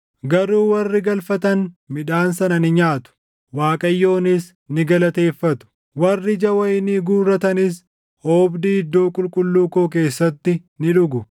garuu warri galfatan midhaan sana ni nyaatu; Waaqayyoonis ni galateeffatu; warri ija wayinii guurratanis oobdii iddoo qulqulluu koo keessatti ni dhugu.”